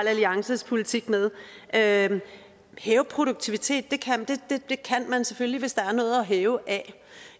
alliances politik med at hæve produktiviteten kan man selvfølgelig hvis der er noget at hæve af